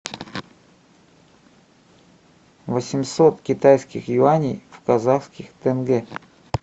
восемьсот китайских юаней в казахских тенге